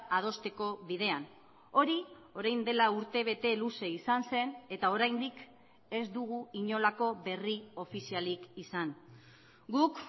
adosteko bidean hori orain dela urtebete luze izan zen eta oraindik ez dugu inolako berri ofizialik izan guk